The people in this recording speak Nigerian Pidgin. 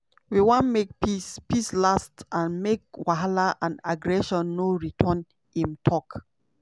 "we wan make peace peace last and make wahala and aggression no return" im tok.